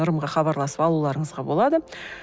нұрымға хабарласып алуларыңызға болады